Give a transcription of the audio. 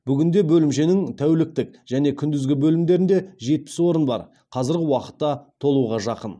бүгінде бөлімшенің тәуліктік және күндізгі бөлімдерінде жетпіс орын бар қазіргі уақытта толуға жақын